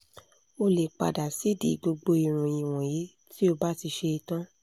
o lè pa dà sídìí gbogbo ìròyìn wọ̀nyí tí o bá ti ṣe é tán